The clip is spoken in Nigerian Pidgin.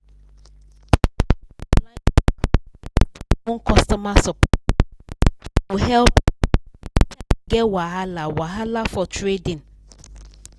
plenty online brokers get their own customer support squad wey go help you anytime you get wahala wahala for trading